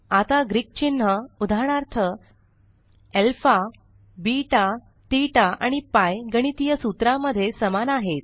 आता ग्रीक चिन्ह उदाहरणार्थ अल्फा बेटा ठेता आणि पीआय गणितीय सूत्रा मध्ये समान आहेत